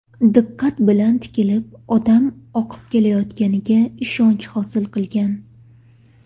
Diqqat bilan tikilib, odam oqib kelayotganiga ishonch hosil qilgan.